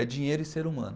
É dinheiro e ser humano.